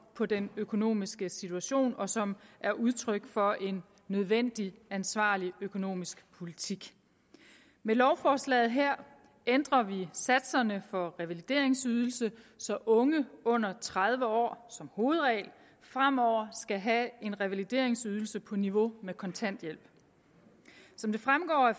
på den økonomiske situation og som er udtryk for en nødvendig ansvarlig økonomisk politik med lovforslaget her ændrer vi satserne for revalideringsydelsen så unge under tredive år som hovedregel fremover skal have en revalideringsydelse på niveau med kontanthjælp som det fremgår af